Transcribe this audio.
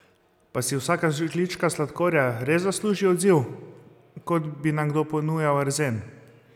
Pa si vsaka žlička sladkorja res zasluži odziv, kot bi nam kdo ponujal arzen?